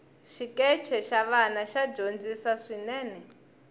xikeche xa vana xa dyondzisi swinene